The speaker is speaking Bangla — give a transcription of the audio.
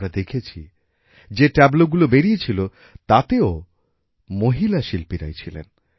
আমরা দেখেছি যে ট্যাবলো গুলো বেরিয়েছিল তাতেও মহিলা শিল্পীরাই ছিলেন